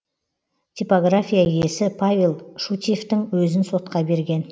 типография иесі павел шутьевтің өзін сотқа берген